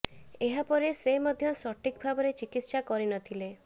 ଏହା ପରେ ସେ ମଧ୍ୟ ସଠିକ ଭାବରେ ଚିକିତ୍ସା କରି ନଥିଲେ